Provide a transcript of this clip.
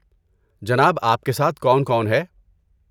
جناب آپ کے ساتھ کون کون ہے؟